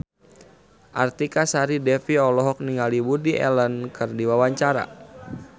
Artika Sari Devi olohok ningali Woody Allen keur diwawancara